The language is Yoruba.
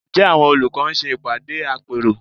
Ǹjẹ́ àwọn olùkọ́ ń ṣe ìpàdé àpérò?